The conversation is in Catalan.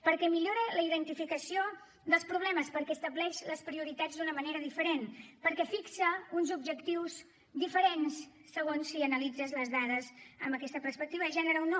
perquè millora la identificació dels problemes perquè estableix les prioritats d’una manera diferent perquè fixa uns objectius diferents segons si analitzes les dades amb aquesta perspectiva de gènere o no